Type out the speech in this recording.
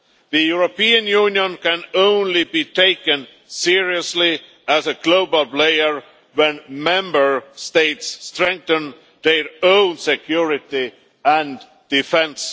The European Union can only be taken seriously as a global player if Member States strengthen their own security and defence.